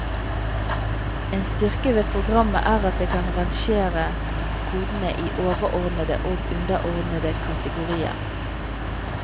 En styrke ved programmet er at det kan rangere kodene i overordnede og underordnede kategorier.